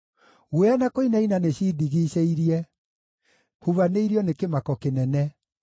Guoya na kũinaina nĩcindigiicĩirie; hubanĩirio nĩ kĩmako kĩnene.